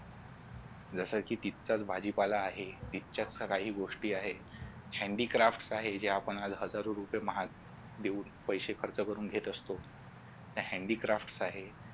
जस कि तिथचाच भाजीपाला आहे तिथचाच काही गोष्टी आहेत handy crafts आहे जे आपण हजारो रुपये महाग देऊन पैसे खर्च करून घेत असतो